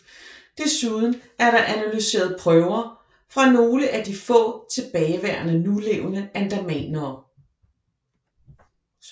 Desuden er der analyseret prøver fra nogle af de få tilbageværende nulevende andamanere